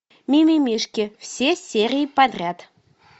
мимимишки все серии подряд